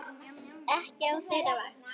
Ekki á þeirra vakt.